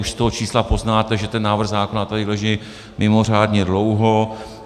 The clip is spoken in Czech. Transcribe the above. Už z toho čísla poznáte, že ten návrh zákona tady leží mimořádně dlouho.